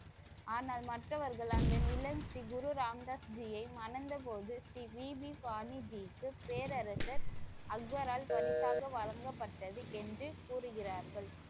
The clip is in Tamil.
ஆனால் மற்றவர்கள் அந்த நிலத்தை குரு ராம்தாஸ்ஜியை மணந்தபோது ஸ்ரீ வி பி வாணி ஜி க்கு பேரரசர் அக்பரால் பரிசாக வழங்கப்பட்டது என்று கூறுகிறார்கள்.